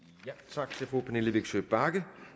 tak til fru pernille vigsø bagge